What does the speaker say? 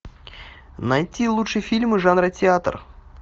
найти лучшие фильмы жанра театр